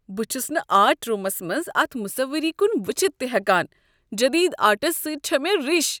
بہٕ چھس نہٕ آرٹ روٗمس منٛز اتھ مُصوٕری کن وٕچھتھ تہ ہٮ۪کان، جدید آرٹس سۭتۍ چھےٚ مےٚ رِش۔